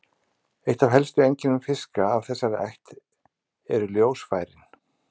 Eitt af helstu einkennum fiska af þessari ætt eru ljósfærin.